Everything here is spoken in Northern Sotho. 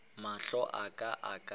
mahlo a ka a ka